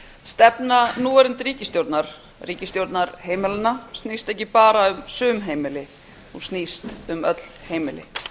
stefna núverandi ríkisstjórnar ríkisstjórnar heimilanna snýst ekki bara um sum heimili hún snýst um öll heimili